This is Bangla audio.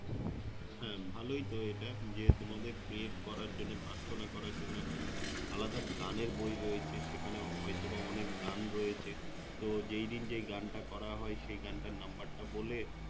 হ্যাঁ ভালোই তো এটা যে তোমাদের Pray করার জন্য প্রার্থনা করার জন্য একটা আলাদা গান এর বই রয়েছে সেখানে হয়তো বা অনেক গান রয়েছে তো যেই দিন যেই গান টা করা হয় সেই গান টার Number তা বলে